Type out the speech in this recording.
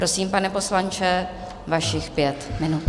Prosím, pane poslanče, vašich pět minut.